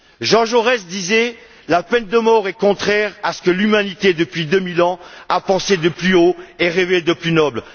Jean Jaurès disait la peine de mort est contraire à ce que l'humanité, depuis deux mille ans, a pensé de plus haut et rêvé de plus noble.